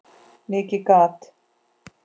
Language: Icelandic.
Mikið gat